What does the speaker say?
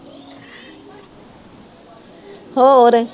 ਹੋਰ